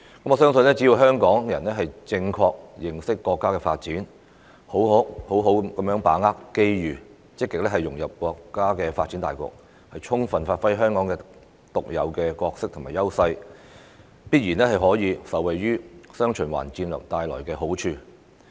我相信香港人只要正確認識國家發展，好好把握機遇，並積極融入國家發展大局，充分發揮香港獨有的角色和優勢，必然可以受惠於"雙循環"戰略帶來的好處。